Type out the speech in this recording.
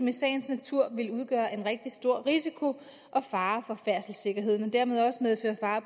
i sagens natur vil udgøre en rigtig stor risiko og fare for færdselssikkerheden og dermed også medføre fare